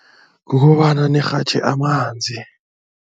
Kukobana nirhatjhe amanzi.